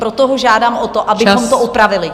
Proto ho žádám o to, abychom to opravili.